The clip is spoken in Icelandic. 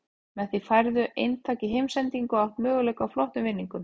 Með því færðu eintak í heimsendingu og átt möguleika á flottum vinningum.